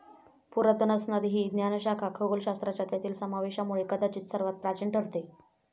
पुरातन असणारी ही ज्ञानशाखा खगोलशास्त्राच्या त्यातील समावेशामुळे कदाचित सर्वात प्राचीन ठरते.